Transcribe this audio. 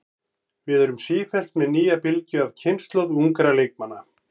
Við erum sífellt með nýja bylgju af kynslóð ungra leikmanna.